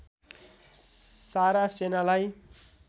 सारा सेनालाई